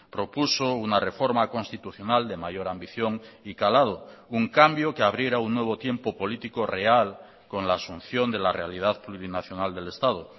propuso una reforma constitucional de mayor ambición y calado un cambio que abriera un nuevo tiempo político real con la asunción de la realidad plurinacional del estado